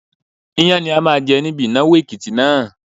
Iyán ni a máa jẹ níbi ìnáwó Èkìtì náà.